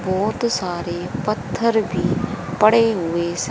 बहोत सारे पत्थर भी पड़े हुए से--